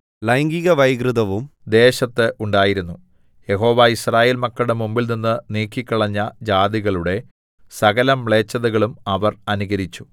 ലൈംഗികവൈകൃതവും ദേശത്ത് ഉണ്ടായിരുന്നു യഹോവ യിസ്രായേൽ മക്കളുടെ മുമ്പിൽനിന്ന് നീക്കിക്കളഞ്ഞ ജാതികളുടെ സകലമ്ലേച്ഛതകളും അവർ അനുകരിച്ചു